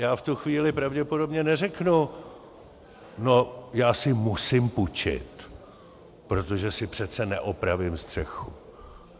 Já v tu chvíli pravděpodobně neřeknu: no, já si musím půjčit, protože si přece neopravím střechu.